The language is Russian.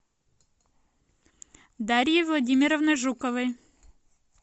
дарьей владимировной жуковой